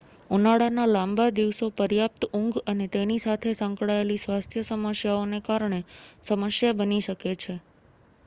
ઉનાળાના લાંબા દિવસો પર્યાપ્ત ઊંઘ અને તેની સાથે સંકળાયેલી સ્વાસ્થ્ય સમસ્યાઓને કારણે સમસ્યા બની શકે છે